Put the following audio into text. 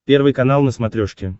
первый канал на смотрешке